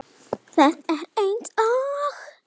Það er eins og